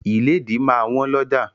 Ìlédìí máa wọ́n lọ́ja.